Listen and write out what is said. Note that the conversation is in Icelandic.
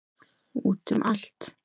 Út um allt.